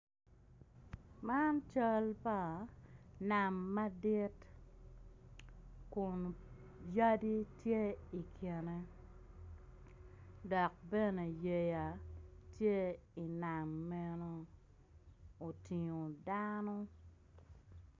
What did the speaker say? Man cal pa nam madit kun yadi tye ikine dok bene yeya tye inam meno otingo dano